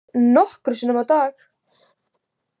Nokkrum sinnum á dag.